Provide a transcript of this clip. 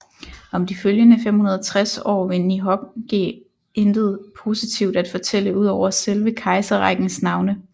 Om de følgende 560 år ved Nihongi intet positivt at fortælle ud over selve kejserrækkens navne